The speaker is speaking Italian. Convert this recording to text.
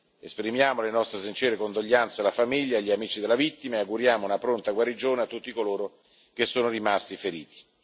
Esprimiamo le nostre sincere condoglianze alla famiglia e agli amici della vittima e auguriamo una pronta guarigione a tutti coloro che sono rimasti feriti.